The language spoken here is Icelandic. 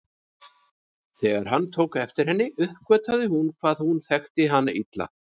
Þegar hann tók eftir henni uppgötvaði hún hvað hún þekkti hann illa.